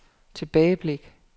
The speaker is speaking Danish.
tilbageblik